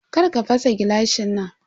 Karka fasa gilashin nan.